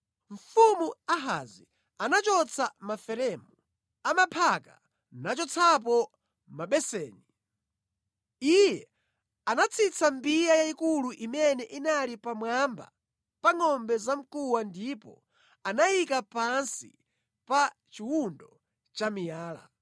Mfumu Ahazi anachotsa maferemu a maphaka nachotsapo mabeseni. Iye anatsitsa mbiya yayikulu imene inali pamwamba pa ngʼombe zamkuwa ndipo anayika pansi pa chiwundo cha miyala.